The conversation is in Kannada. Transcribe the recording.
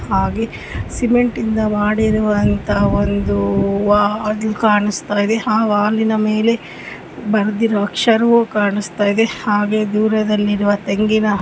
ಹಾಗೆ ಸಿಮೆಂಟ್ ಇಂದ ಮಾಡಿರುವಂತಹ ಒಂದು ವಾಲ್ ಕಾಣಿಸ್ತಾ ಇದೆ. ಆ ವಾಲ್ ನ ಮೇಲೆ ಬರೆದಿರುವ ಅಕ್ಷರವು ಕಾಣಿಸ್ತಾ ಇದೆ ಹಾಗೆ ದೂರದಲ್ಲಿರುವ ತೆಂಗಿನ--